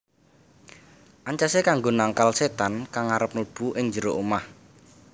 Ancasé kanggo nangkal sétan kang arep mlebu ing njero omah